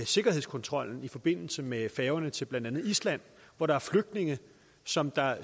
sikkerhedskontrollen i forbindelse med færgerne til blandt andet island og hvor der er flygtninge som der